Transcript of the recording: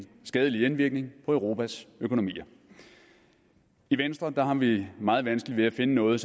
skadelig indvirkning på europas økonomier i venstre har vi meget vanskeligt ved at finde noget